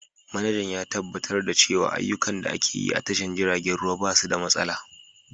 Manajan ya tabbatar da cewa ayyukan da ake yi a tashar jiragen ruwa ba su da matsala.